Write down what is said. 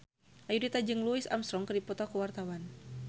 Ayudhita jeung Louis Armstrong keur dipoto ku wartawan